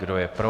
Kdo je pro?